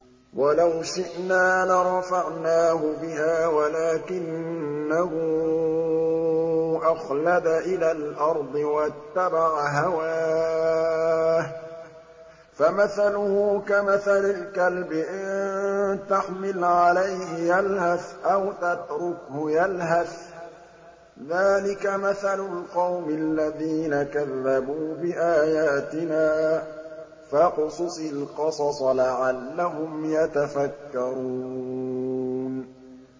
وَلَوْ شِئْنَا لَرَفَعْنَاهُ بِهَا وَلَٰكِنَّهُ أَخْلَدَ إِلَى الْأَرْضِ وَاتَّبَعَ هَوَاهُ ۚ فَمَثَلُهُ كَمَثَلِ الْكَلْبِ إِن تَحْمِلْ عَلَيْهِ يَلْهَثْ أَوْ تَتْرُكْهُ يَلْهَث ۚ ذَّٰلِكَ مَثَلُ الْقَوْمِ الَّذِينَ كَذَّبُوا بِآيَاتِنَا ۚ فَاقْصُصِ الْقَصَصَ لَعَلَّهُمْ يَتَفَكَّرُونَ